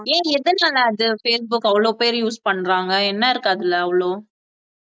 ஏன் எதனால facebook அவ்வளவு பேரு use பண்றாங்க என்ன இருக்கு அதுல அவ்ளோ